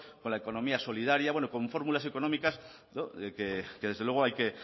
con la economía solidaria bueno con fórmulas económicas que desde luego